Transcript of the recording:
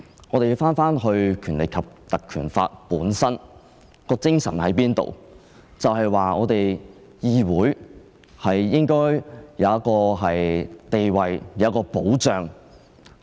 我們應從《立法會條例》的精神來理解，《條例》的精神就是議會應有其地位和保障。